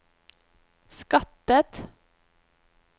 skattet